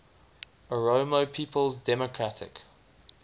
oromo people's democratic